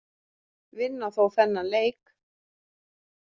Vinna þó þennan leik.